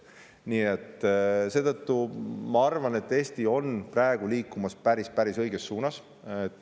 Nii et ma arvan, et Eesti on praegu liikumas päris õiges suunas.